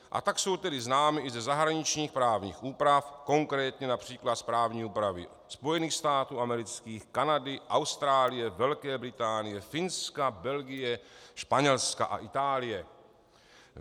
A tak jsou tedy známy i ze zahraničních právních úprav, konkrétně například z právní úpravy Spojených států amerických, Kanady, Austrálie, Velké Británie, Finska, Belgie, Španělska a Itálie.